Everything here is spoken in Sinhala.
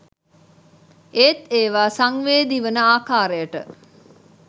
ඒත් ඒවා සංවේදී වන ආකාරයට